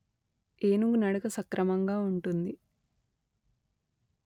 ఏనుగు నడక సక్రమంగా వుంటుంది